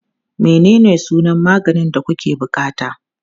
Menene sunan maganin da kuke buƙata?